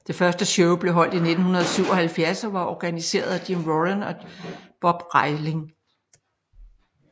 Det første show blev holdt i 1977 og var organiseret af Jim Warren og Bob Reiling